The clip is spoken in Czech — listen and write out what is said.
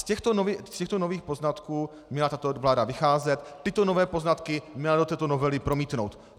Z těchto nových poznatků měla tato vláda vycházet, tyto nové poznatky měla do této novely promítnout.